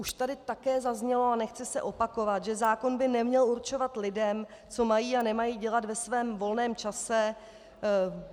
Už tady také zaznělo, a nechci se opakovat, že zákon by neměl určovat lidem, co mají a nemají dělat ve svém volném čase.